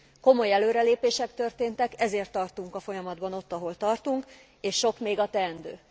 Komoly előrelépések történtek, ezért tartunk a folyamatban ott, ahol tartunk, és sok még a teendő.